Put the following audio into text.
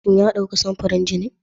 Shin ya dauki samfurin jini?